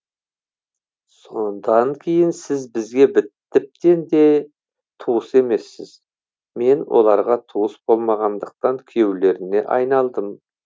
содан кейін сіз бізге тіптен де туыс емессіз мен оларға туыс болмағандықтан күйеулеріне айналдым